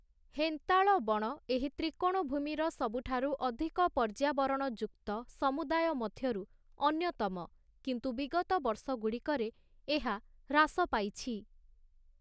ହେନ୍ତାଳ ବଣ ଏହି ତ୍ରିକୋଣଭୂମିର ସବୁଠାରୁ ଅଧିକ ପର୍ଯ୍ୟାବରଣଯୁକ୍ତ ସମୁଦାୟ ମଧ୍ୟରୁ ଅନ୍ୟତମ, କିନ୍ତୁ ବିଗତ ବର୍ଷଗୁଡ଼ିକରେ ଏହା ହ୍ରାସ ପାଇଛି ।